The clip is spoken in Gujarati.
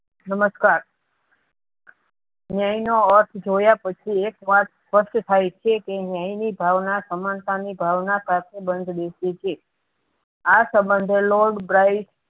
નમસ્કાર ન્યાયનો અર્થ જોયા પછી એક વાત સ્પષ્ટ થઈ છે કે ન્યાય ની ભાવના સમાનતા ની ભાવના સાથે બંધ બેસે છે આ સબંધો lord bright